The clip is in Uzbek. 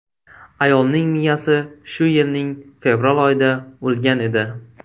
Ayolning miyasi shu yilning fevral oyida o‘lgan edi.